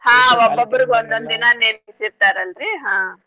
ನೇಮ್ಸೀರ್ತಾರಲ್ರೀ ಹಾ.